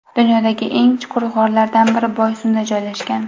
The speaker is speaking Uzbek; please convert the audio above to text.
Dunyodagi eng chuqur g‘orlardan biri Boysunda joylashgan .